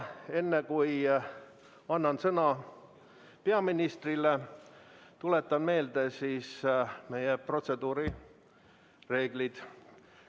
Enne, kui annan sõna peaministrile, tuletan meelde meie protseduurireeglid.